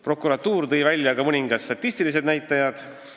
Prokuratuur tõi välja ka mõningad statistilised näitajad.